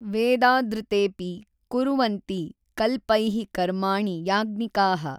ವೇದಾದೃತೇsಪಿ ಕುರ್ವನ್ತಿ ಕಲ್ಪೈಃ ಕರ್ಮಾಣಿ ಯಾಜ್ಞಿಕಾಃ